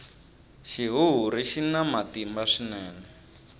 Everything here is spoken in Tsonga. xihuhuri xina matimba swinene